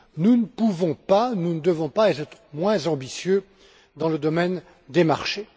Nous ne pouvons pas et ne devons pas être moins ambitieux dans le domaine des marchés.